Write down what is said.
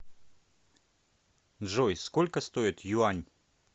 джой сколько стоит юань